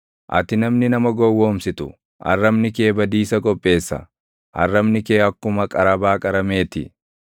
Ati namni nama gowwoomsitu, arrabni kee badiisa qopheessa; arrabni kee akkuma qarabaa qaramee ti.